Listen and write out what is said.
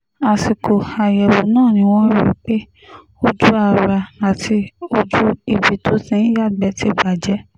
àsìkò àyẹ̀wò náà ni wọ́n rí i pé ojú ara àti ojú ibi tó ti ń yàgbẹ́ ti bàjẹ́